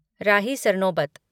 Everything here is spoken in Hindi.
रही सरनोबत